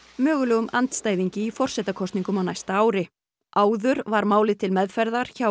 mögulegum andstæðingi í forsetakosningum á næsta ári áður var málið til meðferðar hjá